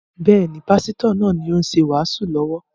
Bẹ́ẹ̀ni, Pásítọ̀ náà ni ó ṣe wàásù lọ́wọ́